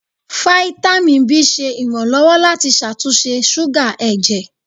Fáítámì B ṣe ìrànlọ́wọ́ láti ṣàtúnṣe súgà ẹ̀jẹ̀.